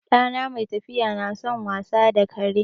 Ɗana mai tafiya na son wasa da kare.